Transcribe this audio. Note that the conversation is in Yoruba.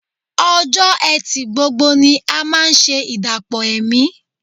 Ọjọ́ Ẹtì gbogbo ni a máa ṣe ìdàpọ̀ ẹ̀mí